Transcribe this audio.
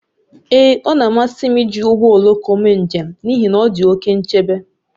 Ee, ọ na-amasị m iji ụgbọ oloko mee njem n'ihi na ọ dị oke nchebe